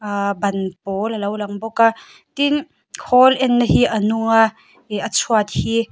aa ban pawl a lo lang bawk a tin khawl enna hi a nung a ih a chhuat hi--